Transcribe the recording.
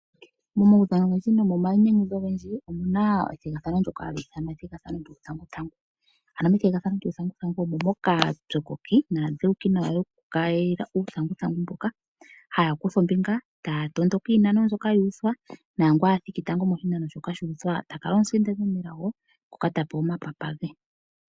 Momaudhano ogendji nomomainyanyudho ogendji omuna ethigathano ndoka hali ithanwa ethigathano lyuuthanguthangu. Ano methigathano lyuuthanguthangu omo moka aapyokoki naadhewuki nawa haya kayila uuthanguthangu mboka. Haya kutha ombinga e taya tondoka iinano mbyoka ya uthwa, nangoka a thiki tango moshinano shoka sha uthwa ta kala omusindani omunelago ngoka ta pewa omapapa ge.